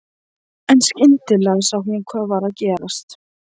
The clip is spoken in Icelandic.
En skyndilega sá hún hvað var að gerast.